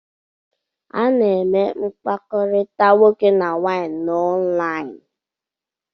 A na-eme mpakọrita nwoke na nwanyị na onlini